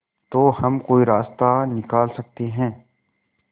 तो हम कोई रास्ता निकाल सकते है